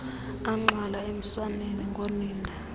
agxwala emswaneni ngonina